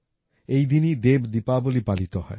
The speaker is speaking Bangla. এই দিনই দেব দীপাবলি পালিত হয়